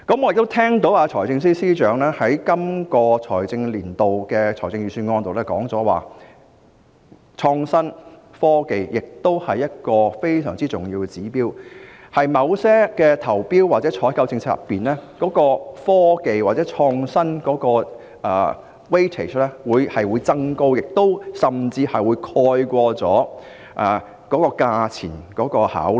我亦聽到財政司司長在本財政年度的財政預算案中指出，創新和科技是非常重要的指標，在某些投標或採購政策中，科技或創新的評分比重會有所增加，甚至會蓋過價錢的考慮。